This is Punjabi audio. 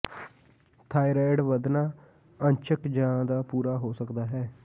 ਥਾਇਰਾਇਡ ਵੱਧਣਾ ਅੰਸ਼ਕ ਜ ਦਾ ਪੂਰਾ ਹੋ ਸਕਦਾ ਹੈ